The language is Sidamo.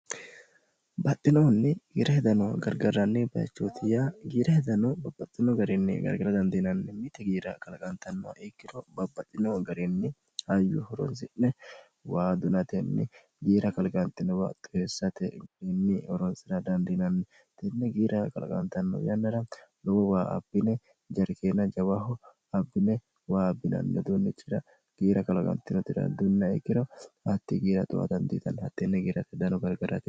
baxxinoonni giira hedano gargaranni bayichootiyya giira hedano babbaxxino garinni gargara dandiinanni mite giira kalaqantannoh ikkiro babbaxxinoho garinni hayyu horonsi'ne wa dunatenni giira kaliqantino baxtoheessate grinni oronsi'ra dandiinanni tinne giira qalaqantanno yannara lowo waa abbine jarikeenna jawaho abbine waa bbinanni hdunnichira giira kalaqantino irddunna ikkiro hatti giira xowa dandiitanni hatteenne giirate hedano gargarane